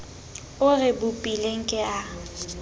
o re bopileng ke a